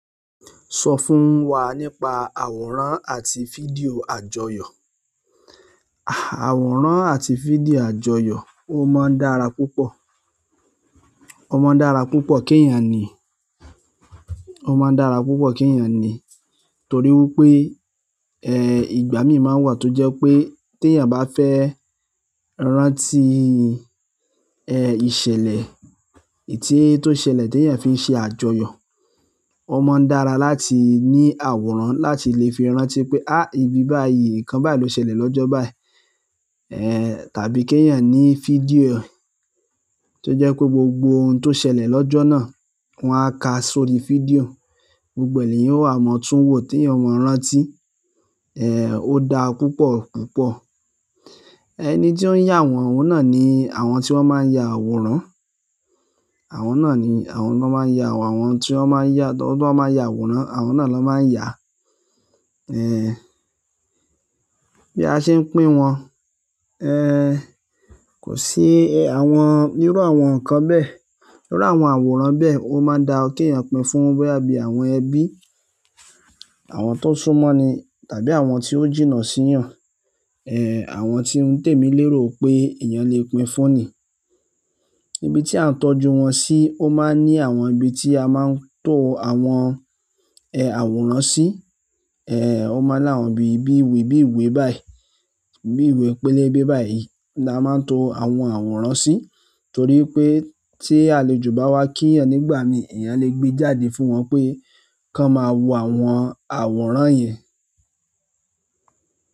Sọ fún wa nípa àwòrán àti fídíò àjọyọ̀. Àwòrán àti fídíò àjọyọ̀, ó máa ń dára púpọ̀. Ó máa ń dára púpọ̀ kí èèyàn ní, ó máa ń dára púpọ̀ kí èèyàn ní torí wípé ìgbà mí máa ń wà tó jẹ́ pé tí èèyàn bá fẹ́ rántí ìṣẹ̀lẹ̀ tó ṣẹlẹ̀ tí èèyàn fi ń ṣe àjọyọ̀. Ó máa ń dára láti ní àwòrán láti lè fi rántí pé ibi báyìí, nkan báyìí ló ṣẹlẹ̀ lọ́jọ́ báyìí. Tàbí kí èèyàn ní fídíò ẹ tó jẹ́ pé gbogbo ohun tó ṣẹlẹ̀ lọ́jọ́ náà wọ́n á ka sórí fídíò. Gbogbo ẹ leeyan o wa mọ tun wo teeyan o mọ rántí ó dá púpọ̀ púpọ̀. Ẹni tí ó ń yà wọ́n, ohun náà ni àwọn tí wọ́n máa ń ya àwòrán. Àwọn náà ni àwọn tí wọ́n máa ń ya àwòrán, àwọn tí wọ́n máa ń yà tọ̀ wọ́n máa ń ya àwòrán, àwọn náà ló máa ń yà. Bí a ṣe ń pín wọn, kò sí àwọn, irú àwọn nǹkan bẹ́ẹ̀. Irú àwọn àwòrán bẹ́ẹ̀ ó máa ń da kí èèyàn pín fún boya bí àwọn ẹbí, àwọn tó súnmọ́ ni tàbí àwọn tí ó jìnnà sí ìyàn. Àwọn tí ń tèmi lérò pé èèyàn lè pín fún ni. Ibi tí a ń tọ́jú wọn sí, ó máa ń ní àwọn ibi tí a máa ń to àwọn àwòrán sí. Ó máa ń láwọn ibi bí ìwé bí ìwé báyìí, bí ìwé pélébé báyìí ni a máa ń to àwọn àwòrán sí torí pé tí àlejò bá wá kí èèyàn nígbà mí, èèyàn lè gbé jáde fún wọn pé, kan máa wo àwọn àwòrán yẹn.